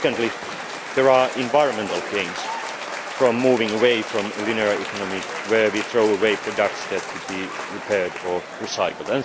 Secondly, there are environmental gains in moving away from a linear economy where we throw away products that could be repaired or recycled.